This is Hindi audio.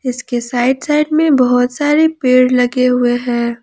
इसके साइड साइड में बहुत सारे पेड़ लगे हुए हैं।